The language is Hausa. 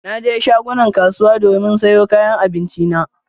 Na je shagunan kasuwa domin sayo kayan abinci na.